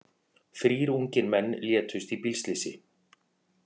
Þrír ungir menn létust í bílslysi